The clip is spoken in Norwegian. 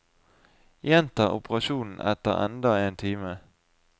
Gjenta operasjonen etter enda én time.